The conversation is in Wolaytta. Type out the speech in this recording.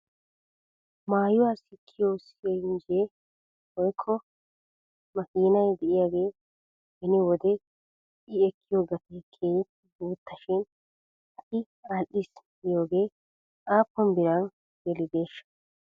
Maayuwaa sikkiyoo sinjjeree woykko makiinay de'iyaagee beni wode i ekkiyoo gatee keehippe guutta shin ha'i al''is giyoogee aappun biran gelideeshsha?